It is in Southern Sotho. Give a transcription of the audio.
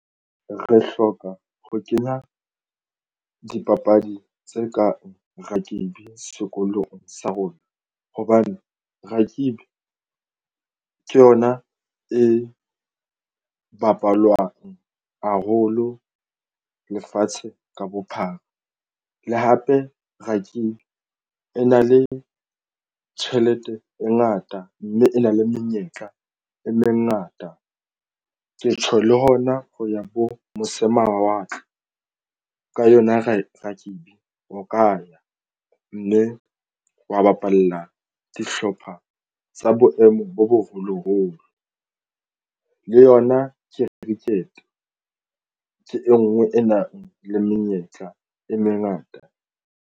Re hloka ho kenya dipapadi tse kang rugby sekolong sa rona hobane rugby ke yona e bapalwang haholo lefatshe ka bophara. Le hape rugby e na le tjhelete e ngata mme e na le menyetla e mengata. Ke tjho le hona ho ya bo mose mawatle ka yona re rugby ho ka mme wa bapalla dihlopha tsa boemo bo boholoholo le yona cricket ke e nngwe e nang le menyetla e mengata.